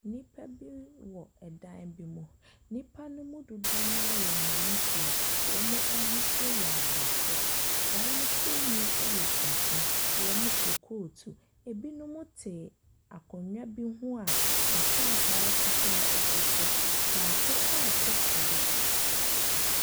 Nnipa bi wɔ dan bi mu. Nnipa no mu dodoɔ no ara yɛ mmeranteɛ. Wɔn ahosuo yɛ Aborɔfo, wɔn tirinwi yɛ tuntum. Wɔhyɛ coat. Ɛbinon te akonnwa bi ho a nkrataa fitaa gu so. Baako reto twɛdeɛ.